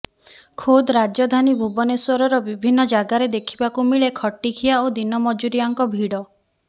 ଖୋଦ ରାଜଧାନୀ ଭୁବନେଶ୍ୱରର ବିଭିନ୍ନ ଜାଗାରେ ଦେଖିବାକୁ ମିଳେ ଖଟିଖିଆ ଓ ଦିନ ମୁଜୁରିଆଙ୍କ ଭିଡ